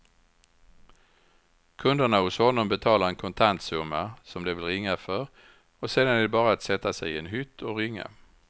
Kunderna hos honom betalar en kontantsumma som de vill ringa för och sedan är det bara att sätta sig i en hytt och ringa.